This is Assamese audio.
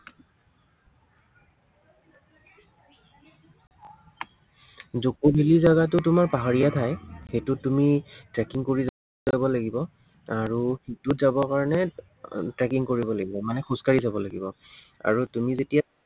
জকভেলী জাগাটো তোমাৰ পাহাৰীয়া ঠাই। সেইটো তুমি tracking কৰি যাব লাগিব, আৰু তাত যাবৰ কাৰনে আৰু tracking কৰিব লাগিব, মানে খোজকাঢ়ি যাব লাগিব। আৰু তুমি যেতিয়া